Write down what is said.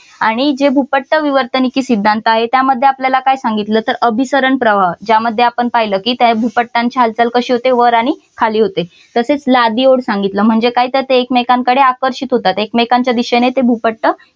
आणि जे भूपट्ट विवर्तनिकी सिद्धांत आहे त्यामध्ये आपल्याला काय सांगितलं तर अभिसरण प्रवाह ज्यामध्ये आपण पाहिलं की त्या भूपटांची हालचाल कशी होते वर आणि खाली होते. तसेच लादी ओढ सांगितलं म्हणजे काय तर ते एकमेकांकडे आकर्षित होतात एकमेकांच्या दिशेने ते भूपट्ट